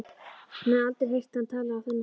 Hún hafði aldrei heyrt hann tala á þennan hátt.